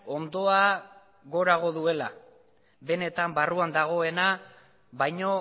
ondoa gorago duela benetan barruan dagoena baino